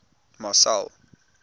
marcel